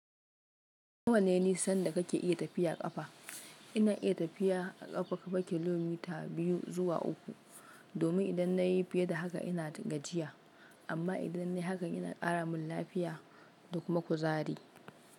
Nawa ne sanda kake iya tafiya ƙafa? Ina iya tafiya a ƙafa baki kilomita biyu zuwa uku, domin idan nayi fiye da haka ina gajiya. Amma idan nayi haka ina ƙaramun lafiya da kuma kuzari.